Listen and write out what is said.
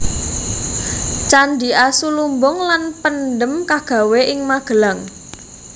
Candhi Asu lumbung lan Pendhem kagawé ing Magelang